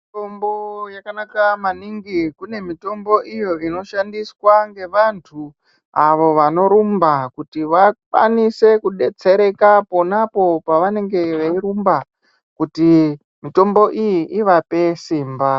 Mitombo yakanaka maningi, kune mitombo iyo inoshandiswa ngevantu avo vanorumba kuti vakwanise kudetsereka ponapo pavanenge veirumba kuti mitombo iyi ivape simba .